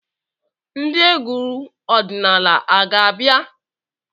Ndị egwu ọdịnala a ga-bịa?